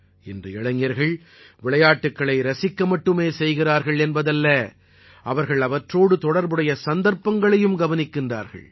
இன்று இளைஞர்கள் விளையாட்டுக்களை ரசிக்க மட்டுமே செய்கிறார்கள் என்பதல்ல அவர்கள் அவற்றோடு தொடர்புடைய சந்தர்ப்பங்களையும் கவனிக்கிறார்கள்